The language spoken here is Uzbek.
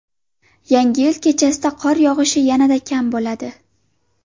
Yangi yil kechasida qor yog‘ishi yanada kam bo‘ladi.